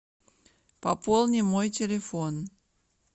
пополни мой телефон